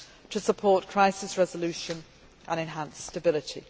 to support crisis resolution and enhance stability.